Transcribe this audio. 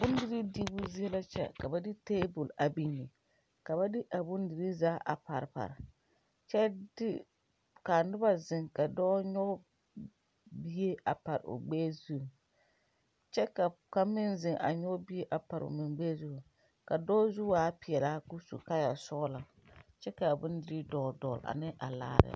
Bondirii diibu zie la kyɛ ka ba de tabol biŋ ka ba de a bondirii zaa a pare kyɛ de kaa noba zeŋ ka dɔɔ nyoge bie a pare o gbɛɛ zu kyɛ ka kaŋ meŋ zeŋ a nyoge bie a pare o gbɛɛ zu ka dɔɔ zu waa peɛlaa ko su kaayɛ sɔglɔ kyɛ kaa bondirii dɔɔle dɔɔle ane a laare.